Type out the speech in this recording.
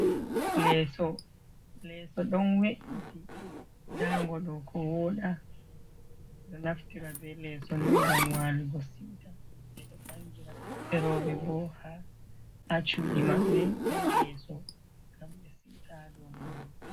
Leso, leso ɗon we'iti. Nda ngo ɗo ko woɗa. Ɓe ɗo naftira be leso ni ngam walugo siwta. Ɓe ɗo bangira ɓiɓɓe rowɓe bo ha cuɗi maɓɓe be leso ngam ɓe siwta ha dou mango.